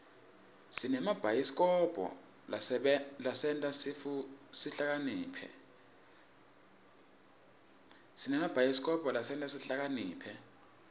sinemabhayisikobho lasenta sihlakaniphe